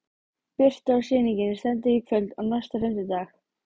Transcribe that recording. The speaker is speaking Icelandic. Birta: Og sýningin stendur í kvöld og næsta fimmtudag?